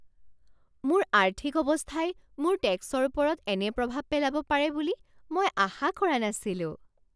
মোৰ আৰ্থিক অৱস্থাই মোৰ টেক্সৰ ওপৰত এনে প্ৰভাৱ পেলাব পাৰে বুলি মই আশা কৰা নাছিলোঁ।